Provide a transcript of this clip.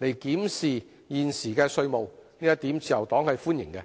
檢視現時的稅務，自由黨是歡迎的。